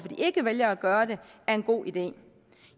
de ikke vælger gøre det er en god idé